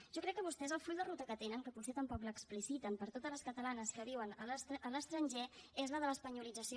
jo crec que vostès el full de ruta que tenen que potser tampoc l’expliciten per a totes les catalanes que viuen a l’estranger és la de l’espanyolització